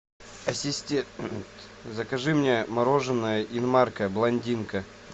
ассистент закажи мне мороженое инмарко блондинка